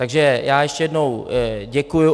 Takže já ještě jednou děkuji.